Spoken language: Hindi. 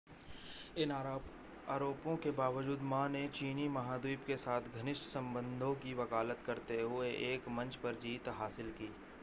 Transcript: इन आरोपों के बावजूद मा ने चीनी महाद्वीप के साथ घनिष्ठ संबंधों की वकालत करते हुए एक मंच पर जीत हासिल की